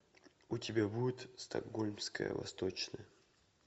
у тебя будет стокгольмская восточная